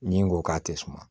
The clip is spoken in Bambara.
Min ko k'a tɛ suma